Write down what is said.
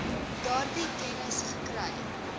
daardie kennis gekry